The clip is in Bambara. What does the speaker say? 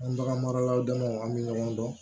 An bagan maralaw damaw an bɛ ɲɔgɔn dɔn